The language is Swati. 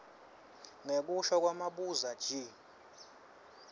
ngekusho kwamabuza g